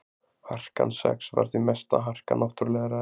harkan sex var því mesta harka náttúrulegra efna